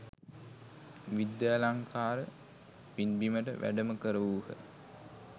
විද්‍යාලංකාර පින්බිමට වැඩම කරවූහ.